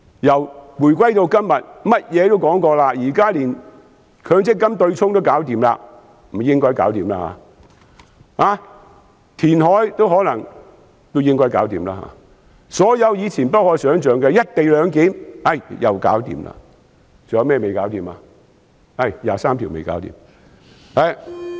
由回歸至今，甚麼也說過，現在甚至強制性公積金取消對沖也應該解決了，填海也應該解決了，所有以前不可想象的，如"一地兩檢"，也解決了，還有甚麼未解決呢？